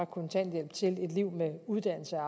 kontanthjælp til et liv med uddannelse